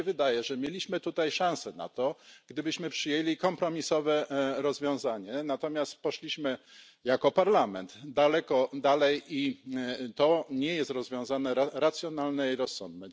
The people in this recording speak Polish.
Mnie się wydaje, że mielibyśmy tutaj szansę na to, gdybyśmy przyjęli kompromisowe rozwiązanie, natomiast poszliśmy jako Parlament dużo dalej i to nie jest rozwiązanie racjonalne i rozsądne.